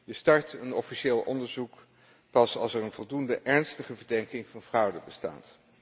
Je start een officieel onderzoek pas als er een voldoende ernstige verdenking van fraude bestaat.